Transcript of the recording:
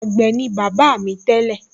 àgbẹ̀ ni bàbá mi tẹ́lẹ̀